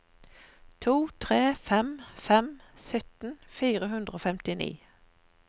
to tre fem fem sytten fire hundre og femtini